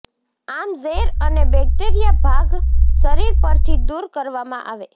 આમ ઝેર અને બેક્ટેરિયા ભાગ શરીર પરથી દૂર કરવામાં આવે